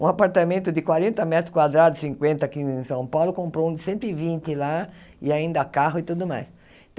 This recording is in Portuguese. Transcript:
Um apartamento de quarenta metros quadrados, cinquanta aqui em São Paulo, comprou um de cento e vinte lá, e ainda carro e tudo mais.